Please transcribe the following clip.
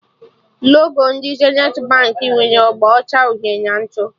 Logo ndị Zenithi Baankị nwere agba ọcha, uhie na ntụ